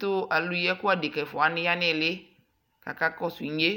Tuu aluyiɛku adeka ɛfuawanii ya niɣilikaka kɔsu inye